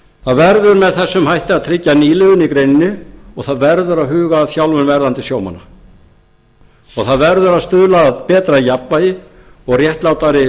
það verður með þessum hætti að tryggja nýliðun í greininni og það verður að huga að þjálfun verðandi sjómanna það verður að stuðla að betra jafnvægi og réttlátari